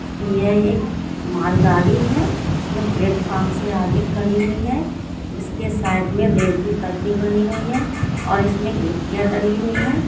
यह एक मालगाड़ी है जो प्लेटफार्म से आगे खड़ी हुई है इसके साइड में रेल की पटरी बनी हुई है और इसमें गिट्टियां डली हुई है।